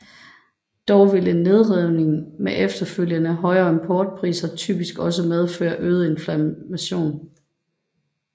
Dog vil en nedskrivning med efterfølgende højere importpriser typisk også medføre øget inflation